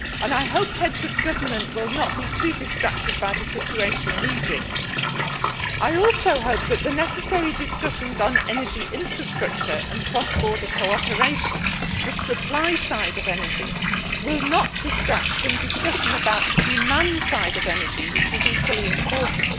I hope the heads of government will not be too distracted by the situation in Egypt. I also hope that the necessary discussions on energy infrastructure and cross border cooperation the supply side of energy will not distract from discussion about the demand side of energy, which is equally important.